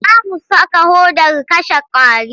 Za mu saka hodar kashe ƙwari.